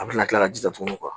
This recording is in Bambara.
A bɛna kila ka jija tugunni